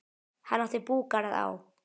Hann átti búgarð á